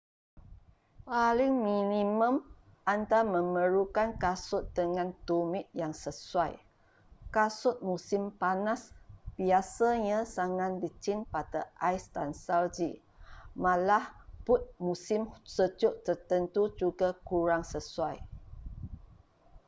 paling minimum anda memerlukan kasut dengan tumit yang sesuai kasut musim panas biasanya sangat licin pada ais dan salji malah but musim sejuk tertentu juga kurang sesuai